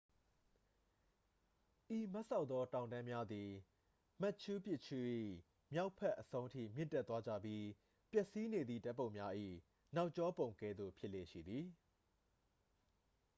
ဤမတ်စောက်သော တောင်တန်းများသည် မတ်ချူးပစ်ချူး၏ မြောက်ဘက်အဆုံးထိ မြင့်တက်သွားကြပြီး ပျက်စီးနေသည့် ဓာတ်ပုံများ၏ နောက်ကျောပုံကဲ့သို့ ဖြစ်လေ့ရှိသည်